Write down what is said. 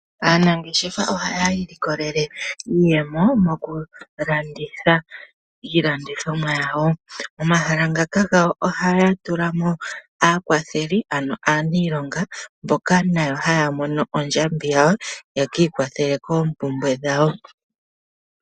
Aanangeshefa ohaya ilikolele iiyemo mokulanditha iilandithomwa yawo, momahala ngaka gawo ohaya tula mo aakwatheli ano aaniilonga mboka nayo haya mono ondjambi yawo, yekiikwathele koompumbwe dhawo.